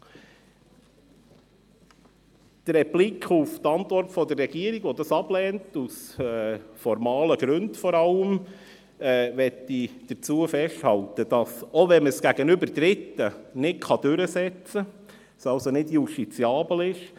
Bei der Replik auf die Antwort der Regierung, welche das vor allem aus formalen Gründen ablehnt, möchte ich festhalten, dass sich trotzdem eine deklaratorische Wirkung entwickelt, auch wenn man es gegenüber Dritten nicht durchsetzen kann, es also nicht justiziabel ist.